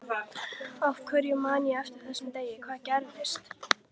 Af hverju man ég eftir þessum degi, hvað gerðist?